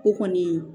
O kɔni